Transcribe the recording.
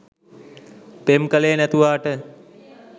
පෙම් කලේ නැතුවාට